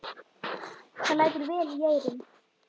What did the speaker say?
Það lætur vel í eyrum.